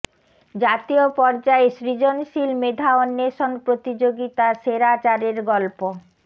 জাতীয় পর্যায়ে সৃজনশীল মেধা অন্বেষণ প্রতিযোগিতা সেরা চারের গল্প